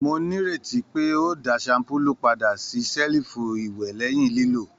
Mó n'ireti pé o dá shampulu pàdà sí selifu iwẹ lẹhin lilo?